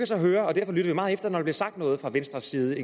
så høre og jeg lytter meget efter når der sagt noget fra venstres side